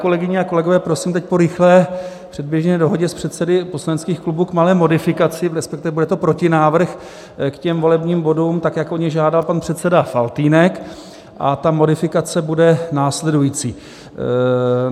Kolegyně a kolegové, prosím teď, po rychlé předběžné dohodě s předsedy poslaneckých klubů, k malé modifikaci, respektive bude to protinávrh k těm volebním bodům, tak jak o ně žádal pan předseda Faltýnek, a ta modifikace bude následující.